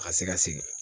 A ka se ka sigi